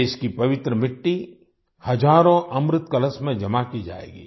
देश की पवित्र मिट्टी हजारों अमृत कलश में जमा की जाएगी